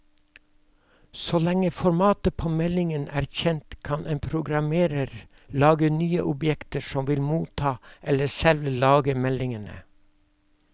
Så lenge formatet på meldingen er kjent, kan en programmerer lage nye objekter som vil motta eller selv lage meldingene.